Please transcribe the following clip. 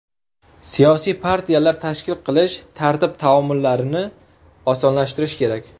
Siyosiy partiyalar tashkil qilish tartib-taomillarini osonlashtirish kerak.